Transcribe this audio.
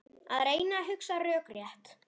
Að reyna að hugsa rökrétt